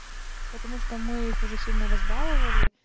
потому что мы их уже сильно разбаловали